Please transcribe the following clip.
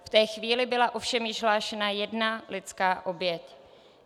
V té chvíli byla ovšem již hlášena jedna lidská oběť.